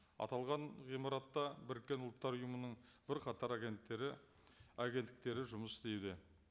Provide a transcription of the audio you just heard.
аталған ғимаратта біріккен ұлттар ұйымының бірқатар агенттері агенттіктері жұмыс істейді